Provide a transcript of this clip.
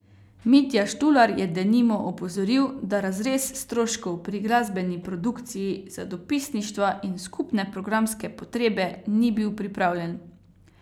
Mitja Štular je denimo opozoril, da razrez stroškov pri glasbeni produkciji, za dopisništva in skupne programske potrebe ni bil pripravljen.